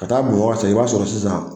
Ka taa Bamakɔ ka segin i b'a sɔrɔ sisan